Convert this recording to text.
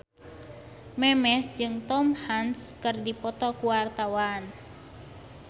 Memes jeung Tom Hanks keur dipoto ku wartawan